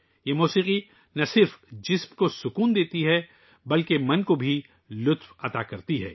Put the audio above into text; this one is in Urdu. یہ موسیقی نہ صرف جسم کو سکون دیتی ہے بلکہ دماغ کو بھی خوشی دیتی ہے